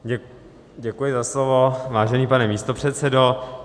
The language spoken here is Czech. Děkuji za slovo, vážený pane místopředsedo.